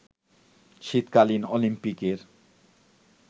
শীতকালীন অলিম্পিকের